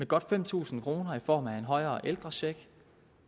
godt fem tusind kroner i form af en højere ældrecheck